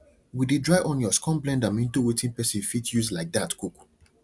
we de dry onions come blend am into wetin person fit use like that cook